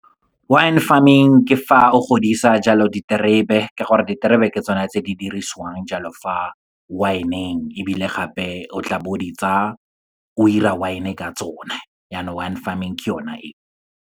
Wine farming, ke fa o godisa jalo diterebe ka gore diterebe ke tsone tse di dirisiwang jalo fa wine-eng, ebile gape o tla bo o di tsa o dira wine ka tsone, yanong wine farming ke yona e.